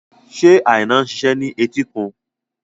Ṣé Aina ń ṣiṣẹ́ ní etíkun?